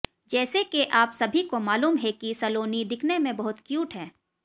जैसे के आप सभी को मालूम हैं की सलोनी दिखने में बहुत क्यूट हैं